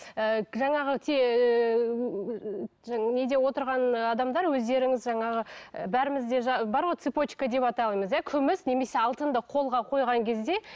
і жаңағы неде отырған адамдар өздеріңіз жаңағы ы бәрімізде бар ғой цыпочка деп атаймыз иә күміс немесе алтынды қолға қойған кезде